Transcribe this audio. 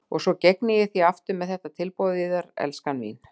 Svo ég gegni því aftur með þetta tilboð yðar, elskan mín.